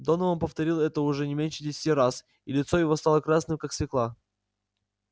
донован повторил это уже не меньше десяти раз и лицо его стало красным как свёкла